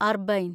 അർബൈൻ